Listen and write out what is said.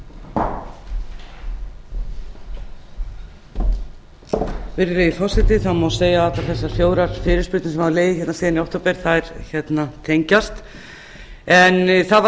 virðulegi forseti það má segja að allar þessar fjórar fyrirspurnir sem hafa legið hérna síðan í október tengjast en það var